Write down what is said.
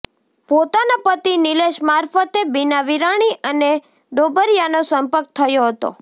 પોતાના પતિ નિલેશ મારફતે બિના વિરાણી અને ડોબરીયાનો સંપર્ક થયો હતો